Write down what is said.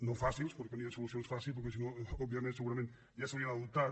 no fàcils perquè no hi ha solucions fàcils perquè si no òbviament segurament ja s’haurien adoptat